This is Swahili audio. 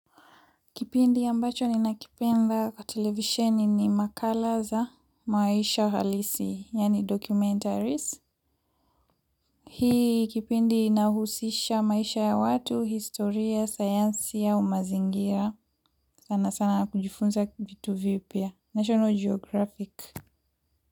Kipindi mbacho ninakipenda kwa televisioni ni makala za maisha halisi, yani documentaries. Hii kipindi inahusisha maisha ya watu, historia, sayansi au umazingira. Sana sana kujifunza kitu vipya. National Geographic.